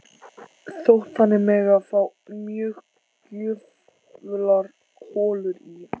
Þótt þannig megi fá mjög gjöfular holur í